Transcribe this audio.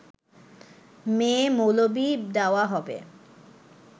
মেয়ে-মৌলবি দেওয়া হবে